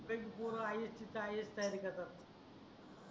संगडेच पोर ias च्या ias तयारी करतात